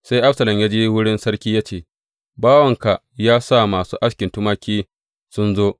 Sai Absalom ya je wurin sarki ya ce, Bawanka ya sa masu askin tumaki sun zo.